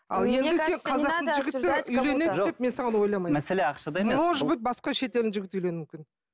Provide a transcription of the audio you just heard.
может быть басқа шетелдің жігіті үйлену мүмкін